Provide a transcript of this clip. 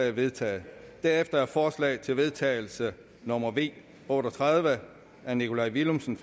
er vedtaget herefter er forslag til vedtagelse nummer v otte og tredive af nikolaj villumsen